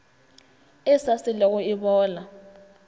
e sa selego e bola